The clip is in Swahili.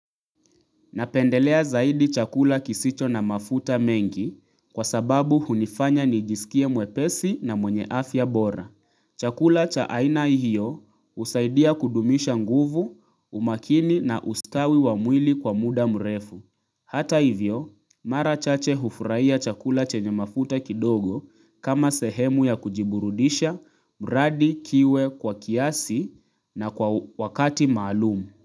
Napendelea zaidi chakula kisicho na mafuta mengi kwa sababu hunifanya nijisikie mwepesi na mwenye afya bora. Chakula cha aina hio husaidia kudumisha nguvu, umakini na ustawi wa mwili kwa mda mrefu. Hata hivyo, mara chache hufurahia chakula chenye mafuta kidogo kama sehemu ya kujiburudisha, mradi, kiwe, kwa kiasi na kwa wakati maalum.